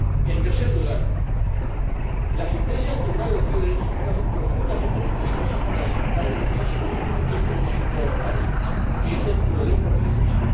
En tercer lugar, la sentencia del Tribunal Europeo de Derechos Humanos es profundamente respetuosa con la libertad religiosa y con su corolario que es el pluralismo religioso.